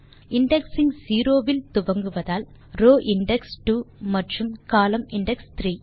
indexing zero வில் துவங்குவதால் row index 2 மற்றும் கோலம்ன் இண்டெக்ஸ் 3